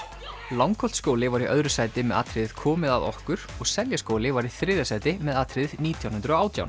Langholtsskóli var í öðru sæti með atriðið komið að okkur og Seljaskóli var í þriðja sæti með atriðið nítján hundruð og átján